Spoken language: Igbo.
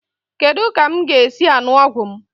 Kedu ka m ga-esi aṅụ ọgwụ m?